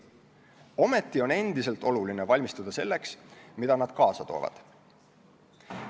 Ometi on endiselt oluline valmistuda selleks, mida nad kaasa toovad.